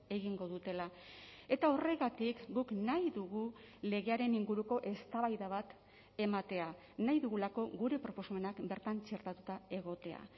egingo dutela eta horregatik guk nahi dugu legearen inguruko eztabaida bat ematea nahi dugulako gure proposamenak bertan txertatuta egotea